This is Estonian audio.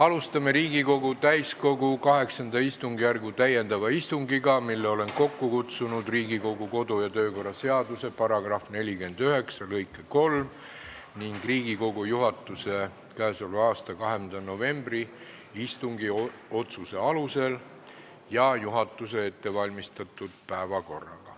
Alustame Riigikogu täiskogu VIII istungjärgu täiendavat istungit, mille olen kokku kutsunud Riigikogu kodu- ja töökorra seaduse § 49 lõike 3 ning Riigikogu juhatuse k.a 20. novembri istungi otsuse alusel ja juhatuse ettevalmistatud päevakorraga.